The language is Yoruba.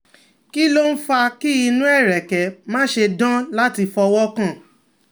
Kí ló ń fa kí inu ereke mase dan lati fowokan?